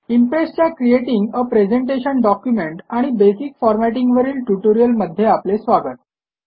इम्प्रेसच्या creating a presentation document आणि basic formatting वरील ट्युटोरियलमध्ये आपले स्वागत